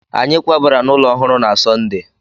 Anyị kwabara n'ụlọ ọhụrụ na Sọnde